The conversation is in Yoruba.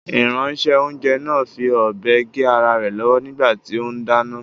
Ìránṣẹ́-oúnjẹ náà fi ọ̀bẹ gé ara rẹ̀ lọ́wọ́ nígbà tí ó ń dáná.